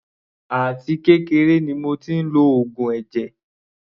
Àti kékeré ni mo tí ń lo oògùn ẹ̀jẹ̀.